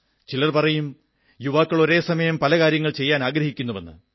ചിലർ പറയും യുവാക്കൾ ഒരേ സമയം പല കാര്യങ്ങൾ ചെയ്യാനാഗ്രഹിക്കുന്നുവെന്ന്